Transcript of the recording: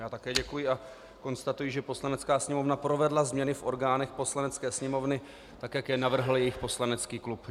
Já také děkuji a konstatuji, že Poslanecká sněmovna provedla změny v orgánech Poslanecké sněmovny tak, jak je navrhl jejich poslanecký klub.